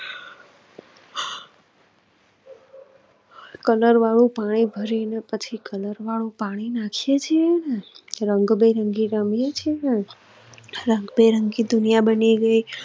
colour વાળુ પાણી ભરી ને પછી કલર વાળુ પાણી નાખીએ છીએ ને રંગબેરંગી રમીયે છીએ ને રંગબેરંગી દુનિયા બની ગઈ